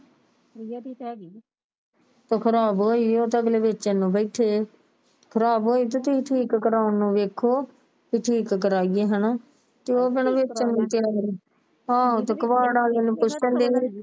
ਤੋਂ ਖ਼ਰਾਬ ਹੋਈ ਉਹ ਉਹਤਾ ਲਾਗਲੇ ਵੇਚਣ ਨੂੰ ਬੈਠੇ ਖ਼ਰਾਬ ਹੋਈ ਤੋਂ ਠੀਕ ਕਰਵਾਉਣ ਨੂੰ ਵੇਖੋ ਕੇ ਠੀਕ ਕਰਵਾਏ ਹਣਾ ਤੇ ਉਹ ਕਿਹੜਾ ਵੇਚਣ ਨੂੰ ਹਾਂ ਤੇ ਕਵਾੜ ਵਾਲੇ ਨੂੰ ਪੁੱਛਣ ਦੇ